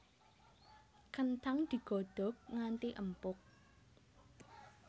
Kenthang digodhog nganti empuk